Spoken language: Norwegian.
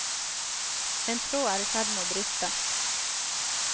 En tråd er i ferd med å briste.